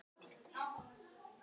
Ásgeir: Hvað hefur verið erfiðast?